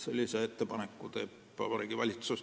Sellise ettepaneku teeb Vabariigi Valitsus.